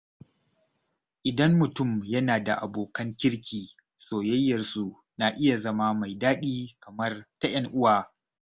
Idan mutum yana da abokan kirki, soyayyarsu na iya zama mai daɗi kamar ta ‘yan uwa.